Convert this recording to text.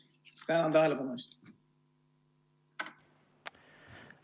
Tänan tähelepanu eest!